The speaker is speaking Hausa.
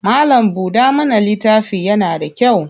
Mallam-buɗa-mana littafi yana da kyau.